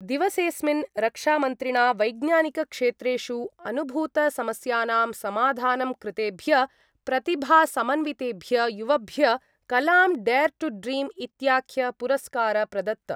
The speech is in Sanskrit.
दिवसेस्मिन् रक्षामन्त्रिणा वैज्ञानिकक्षेत्रेषु अनुभूतसमस्यानां समाधानं कृतेभ्य प्रतिभासमन्वितेभ्य युवभ्य कलाम् डेयर् टू ड्रीम् इत्याख्य पुरस्कार प्रदत्त।